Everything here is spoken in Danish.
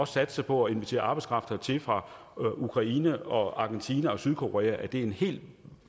satse på at invitere arbejdskraft hertil fra ukraine og argentina og sydkorea er en helt